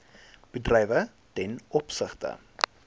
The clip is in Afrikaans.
bedrywe ten opsigte